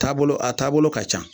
Taabolo a taabolo ka ca